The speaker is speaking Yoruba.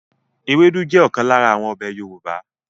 Ewédú jẹ́ ọ̀kan lára àwọn ọbẹ̀ Yorùbá